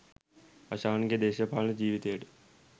හෂාන්ගේ දේශපාලන ජීවිතයට